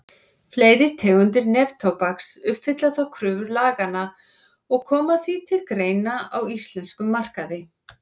Fleiri tegundir neftóbaks uppfylla þó kröfur laganna og koma því til greina á íslenskum markaði.